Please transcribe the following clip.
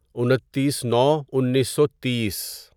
انتیس نو انیسو تیس